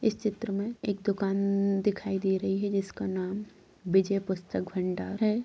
इस चित्र मे एक दुकान दिखाई दे रही है जिसका नाम विजय पुस्तक भंडार है।